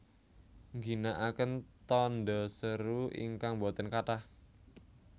Ngginakaken tanda seru ingkang boten kathah